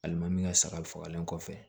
Alimami min ka sagali fagalen kɔfɛ